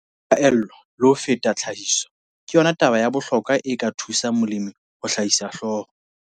Phaello, le ho feta tlhahiso, ke yona taba ya bohlokwa e ka thusang molemi ho hlahisa hloho.